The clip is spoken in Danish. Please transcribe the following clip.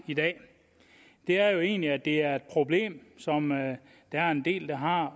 i dag er egentlig at det er et problem som der er en del der har